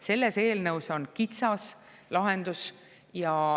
Selles eelnõus on kitsas lahendus.